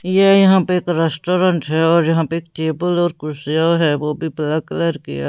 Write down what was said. ये यहाँ पे एक रेस्टोरेंट है और यहाँ पे एक टेबल और कुर्सिया है वो भी ब्लैक कलर की है।